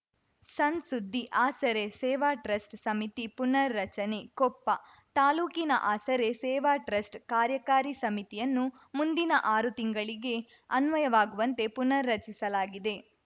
ಸಣ್ ಸುದ್ದಿ ಆಸರೆ ಸೇವಾ ಟ್ರಸ್ಟ್ ಸಮಿತಿ ಪುನರ್ ರಚನೆ ಕೊಪ್ಪ ತಾಲೂಕಿನ ಆಸರೆ ಸೇವಾ ಟ್ರಸ್ಟ್ ಕಾರ್ಯಕಾರಿ ಸಮಿತಿಯನ್ನು ಮುಂದಿನ ಆರು ತಿಂಗಳಿಗೆ ಅನ್ವಯವಾಗುವಂತೆ ಪುನರ್ರಚಿಸಲಾಗಿದೆ